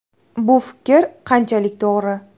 Bu fikr qanchalik to‘g‘ri?